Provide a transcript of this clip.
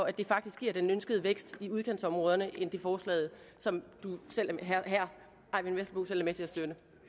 at det faktisk giver den ønskede vækst i udkantsområderne end at det forslag som herre eyvind vesselbo selv er med til at støtte